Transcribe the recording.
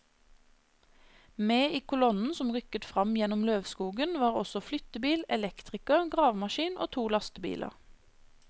Med i kolonnen som rykket frem gjennom løvskogen var også flyttebil, elektriker, gravemaskin og to lastebiler.